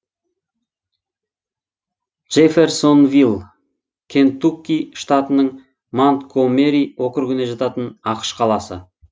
джэфферсонвилл кентукки штатының монтгомери округіне жататын ақш қаласы